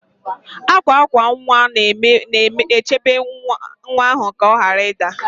Akwa akwa nwa na-echebe nwa ahụ ka ọ ghara ịda